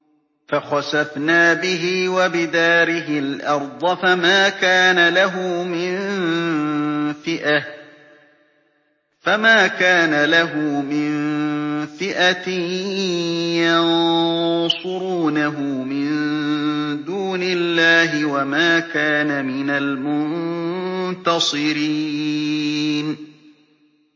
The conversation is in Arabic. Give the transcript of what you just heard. فَخَسَفْنَا بِهِ وَبِدَارِهِ الْأَرْضَ فَمَا كَانَ لَهُ مِن فِئَةٍ يَنصُرُونَهُ مِن دُونِ اللَّهِ وَمَا كَانَ مِنَ الْمُنتَصِرِينَ